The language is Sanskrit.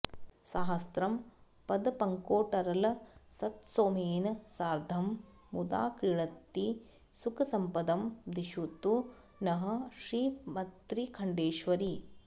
साहस्रं पदपद्मकोटरलसत्सोमेन सार्द्धं मुदा क्रीडन्ती सुखसम्पदं दिशतु नः श्रीमत्त्रिखण्डेश्वरी